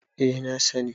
eh na sani